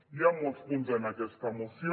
hi han molts punts en aquesta moció